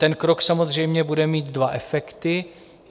Ten krok samozřejmě bude mít dva efekty.